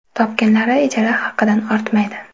Topganlari ijara haqidan ortmaydi.